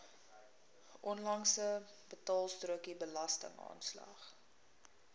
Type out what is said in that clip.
onlangse betaalstrokie belastingaanslag